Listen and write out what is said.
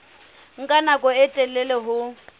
nka nako e telele ho